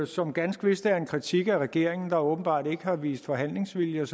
som ganske vist er en kritik af regeringen der åbenbart ikke har vist forhandlingsvilje